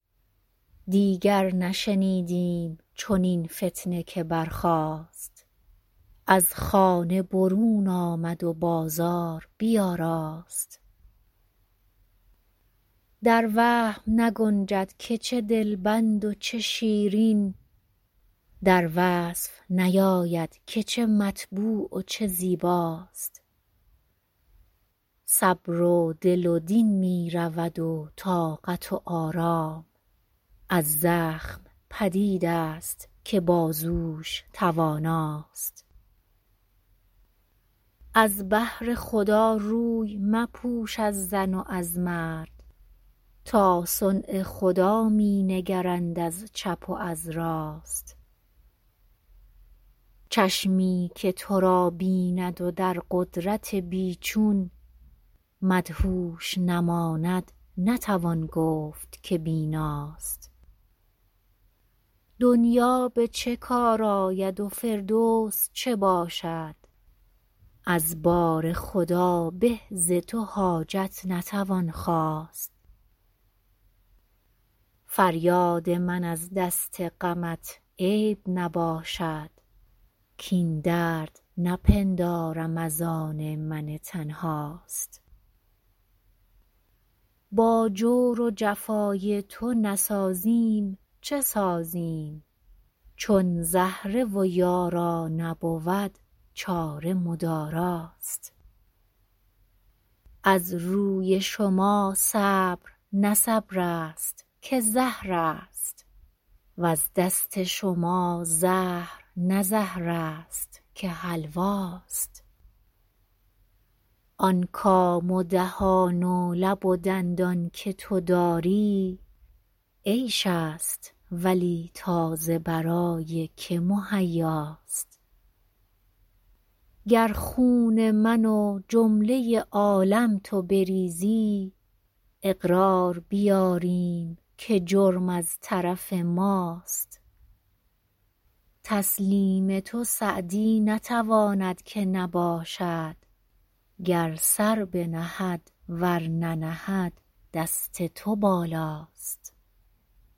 دیگر نشنیدیم چنین فتنه که برخاست از خانه برون آمد و بازار بیاراست در وهم نگنجد که چه دلبند و چه شیرین در وصف نیاید که چه مطبوع و چه زیباست صبر و دل و دین می رود و طاقت و آرام از زخم پدید است که بازوش تواناست از بهر خدا روی مپوش از زن و از مرد تا صنع خدا می نگرند از چپ و از راست چشمی که تو را بیند و در قدرت بی چون مدهوش نماند نتوان گفت که بیناست دنیا به چه کار آید و فردوس چه باشد از بارخدا به ز تو حاجت نتوان خواست فریاد من از دست غمت عیب نباشد کاین درد نپندارم از آن من تنهاست با جور و جفای تو نسازیم چه سازیم چون زهره و یارا نبود چاره مداراست از روی شما صبر نه صبر است که زهر است وز دست شما زهر نه زهر است که حلواست آن کام و دهان و لب و دندان که تو داری عیش است ولی تا ز برای که مهیاست گر خون من و جمله عالم تو بریزی اقرار بیاریم که جرم از طرف ماست تسلیم تو سعدی نتواند که نباشد گر سر بنهد ور ننهد دست تو بالاست